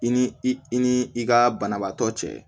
I ni i ni i ka banabaatɔ cɛ